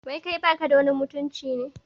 Wai kai baka da wani mutunci ne?